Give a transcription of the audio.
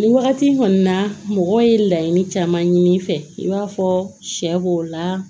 Nin wagati in kɔni na mɔgɔ ye laɲini caman ɲini fɛ i b'a fɔ sɛ b'o la